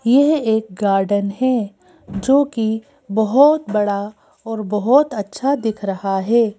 यह एक गार्डन है जोकि बहुत बड़ा और बहुत अच्छा दिख रहा है।